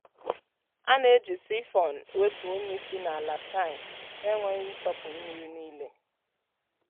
a na-eji siphon wepụ unyi si n’ala tankị n’enweghị ịtọpụ mmiri niile.